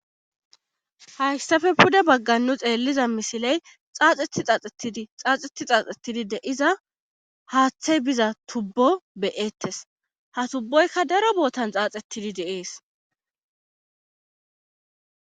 hayssape pude baggan nu xeelliza misiley xaaxetti xaaxettidi xaaxetti xaaxettidi de7iza haathee biza tuubbo be7eetes;ha tuuboykka daro boothan xaaxettidi de7ees.